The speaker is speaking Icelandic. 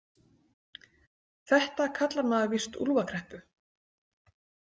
Þetta kallar maður víst úlfakreppu.